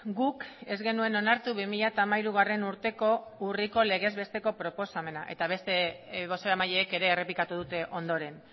guk ez genuen onartu bi mila hamairu urteko urriko legez besteko proposamena eta beste bozeramaileek ere errepikatu dute ondoren